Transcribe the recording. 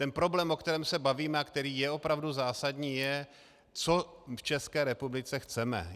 Ten problém, o kterém se bavíme a který je opravdu zásadní, je, co v České republice chceme.